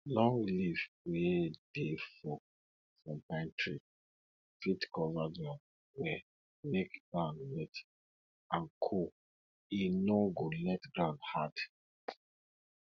long leaf wey dey fall from pine tree fit cover ground well make ground wet and cool e no go let ground hard